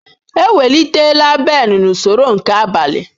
Ewelitela Ben n'usoro nke abalị.